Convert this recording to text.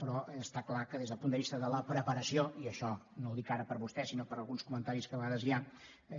però està clar que des del punt de vista de la preparació i això no ho dic ara per vostè sinó per alguns comentaris que a vegades hi ha